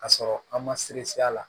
Ka sɔrɔ an ma se a la